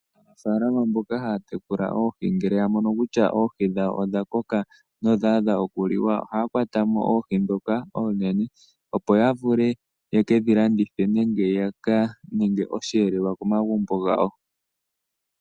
Aanafaalama mboka haya tekula oohi ngele yamono kutya oohi dhawo odha koka nodha adha okuliwa ohaya kwatamo oohi ndhoka oonene opo yavule yeke dhilandithe nenge yaka ninge osheelelwa komagumbo gawo